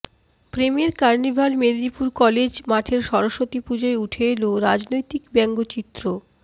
প্রেমের carnival Medinipur college মাঠের স্বরস্বতী পুজোয় উঠে এল রাজনৈতিক ব্যঙ্গচিত্র